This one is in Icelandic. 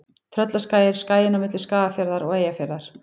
Tröllaskagi er skaginn á milli Skagafjarðar og Eyjafjarðar.